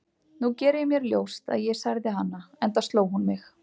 Nú geri ég mér ljóst að ég særði hana, enda sló hún mig.